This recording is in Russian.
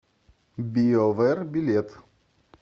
биовэр билет